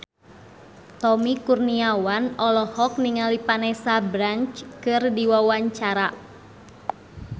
Tommy Kurniawan olohok ningali Vanessa Branch keur diwawancara